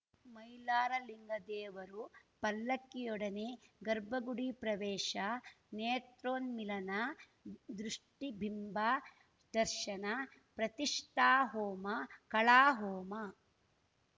ಮೈಲಾರಲಿಂಗ ದೇವರು ಪಲ್ಲಕ್ಕಿಯೊಡನೆ ಗರ್ಭಗುಡಿ ಪ್ರವೇಶ ನೇತ್ರೋನ್ಮಿಲನ ದೃಷ್ಟಿಬಿಂಬ ದರ್ಶನ ಪ್ರತಿಷ್ಠಾಹೋಮ ಕಳಾಹೋಮ